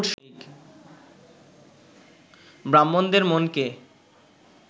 ব্রাহ্মণদের মনকে